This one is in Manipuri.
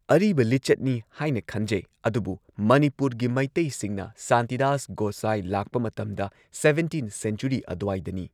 ꯑꯔꯤꯕ ꯂꯤꯆꯠꯅꯤ ꯍꯥꯏꯅ ꯈꯟꯖꯩ ꯑꯗꯨꯕꯨ ꯃꯅꯤꯄꯨꯔꯒꯤ ꯃꯩꯇꯩꯁꯤꯡꯅ ꯁꯥꯟꯇꯤꯗꯥꯁ ꯒꯣꯁꯥꯏ ꯂꯥꯛꯄ ꯃꯇꯝꯗ ꯁꯕꯦꯟꯇꯤꯟ ꯁꯦꯟꯆꯨꯔꯤ ꯑꯗꯨꯋꯥꯏꯗꯅꯤ꯫